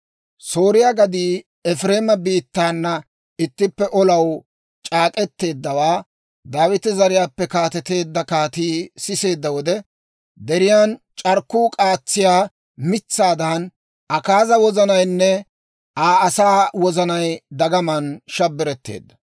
Sooriyaa gaddii Efireema biittaana ittippe olaw c'aak'k'eteeddawaa Daawita zariyaappe kaateteedda kaatii siseedda wode, deriyaan c'arkkuu k'aatsiyaa mitsaadan, Akaaza wozanaynne Aa asaa wozanay dagamaan shabbiretteedda.